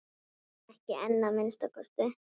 Ekki enn að minnsta kosti.